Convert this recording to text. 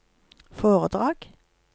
foredrag